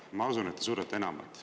Ma usun, et te suudate enamat.